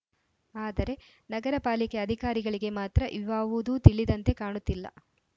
ಆದರೆ ನಗರಪಾಲಿಕೆ ಅಧಿಕಾರಿಗಳಿಗೆ ಮಾತ್ರ ಇವಾವುದೂ ತಿಳಿದಂತೆ ಕಾಣುತ್ತಿಲ್ಲ